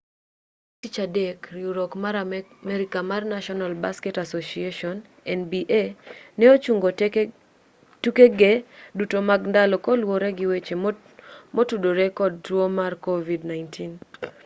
chieng' tich adek riwruok ma amerka mar national basketball association nba ne ochungo tukege duto mag ndalo kaluwore gi weche motudore kod tuo mar covid-19